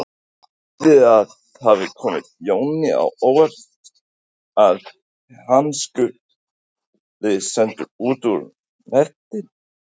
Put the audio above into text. En skyldi það hafa komið Jóni á óvart að hann skuli settur út úr nefndinni?